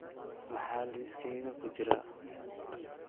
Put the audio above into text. maxaa liiskayga ku jira